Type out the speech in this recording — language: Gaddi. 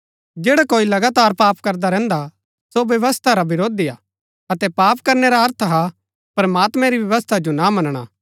जैडा कोई लगातार पाप करदा रैहन्दा सो व्यवस्था रा विरोधी हा अतै पाप करनै रा अर्थ हा प्रमात्मैं री व्यवस्था जो ना मनणा